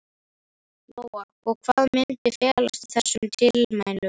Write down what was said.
Lóa: Og hvað myndi felast í þessum tilmælum?